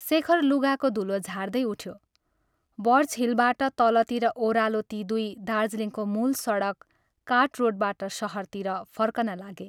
शेखर लुगाको धूलो झार्दै उठ्यो बर्चहिलबाट तलतिर ओह्रलेर ती दुइ दार्जीलिङको मूल सडक कार्ट रोडबाट शहरतिर फर्कन लागे।